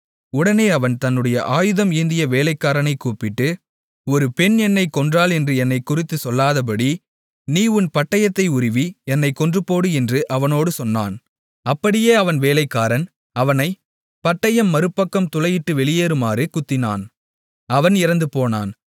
உடனே அவன் தன்னுடைய ஆயுதம் ஏந்திய வேலைக்காரனைக் கூப்பிட்டு ஒரு பெண் என்னைக் கொன்றாள் என்று என்னைக் குறித்துச் சொல்லாதபடி நீ உன் பட்டயத்தை உருவி என்னைக் கொன்று போடு என்று அவனோடு சொன்னான் அப்படியே அவன் வேலைக்காரன் அவனை பட்டயம் மறுபக்கம் துளையிட்டு வெளியேறுமாறு குத்தினான் அவன் இறந்துபோனான்